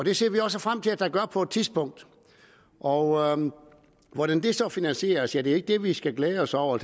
det ser vi også frem til at der gør på et tidspunkt og hvordan det så finansieres er ikke det vi skal glæde os over